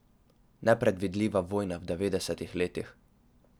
Nepredvidljiva vojna v devetdesetih letih.